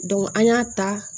an y'a ta